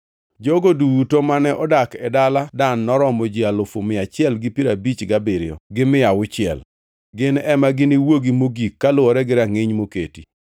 Jogo duto mane odak e dala Dan noromo ji alufu mia achiel gi piero abich gabiriyo, gi mia auchiel (157,600). Gin ema giniwuogi mogik kaluwore gi rangʼiny moketi.